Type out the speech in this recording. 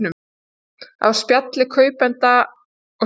Af spjalli kaupanda og seljanda